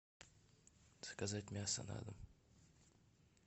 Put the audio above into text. заказать мясо на дом